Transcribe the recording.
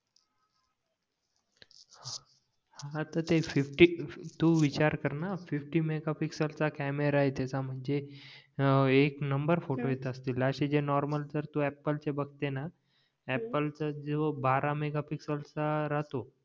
हां तर ते फिफ्टी तू विचार करणं फिफ्टी मेघापिक्सेलचा कॅमेरा आहे त्याच्या म्हणजे हं एक नंबर फोटो येत असतील अशे नॉर्मल जर तू अँपल चे बघते ना अँपल चा जो बारा मेगापिक्सएल चा राहतो